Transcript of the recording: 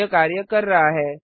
यह कार्य कर रहा है